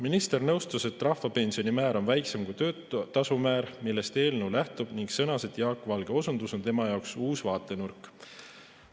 Minister nõustus, et rahvapensionimäär on väiksem kui töötasumäär, millest eelnõu lähtub, ning sõnas, et Jaak Valge osundus on tema jaoks uus vaatenurk.